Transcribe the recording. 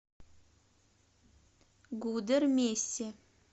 гудермесе